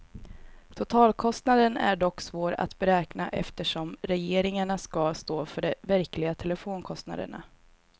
Totalkostnaden är dock svår att beräkna eftersom regeringarna skall stå för de verkliga telefonkostnaderna.